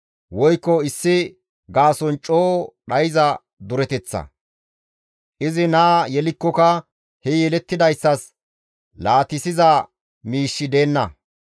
woykko issi gaason coo dhayza dureteththa. Izi naa yelikkoka he yelettidayssas laatissiza miishshi deenna.